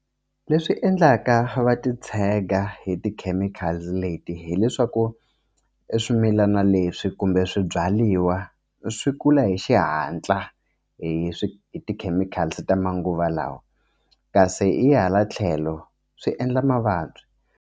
Leswi endlaka va titshega hi tikhemikhali leti hileswaku swimilana leswi kumbe swibyariwa swi kula hi xihatla hi swi hi tikhemikhali ta manguva lawa kasi hi hala tlhelo swi endla mavabyi.